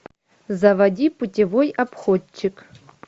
заводи путевой обходчик